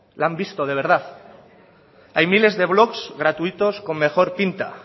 la han visto de verdad hay miles de blog gratuitos con mejor pinta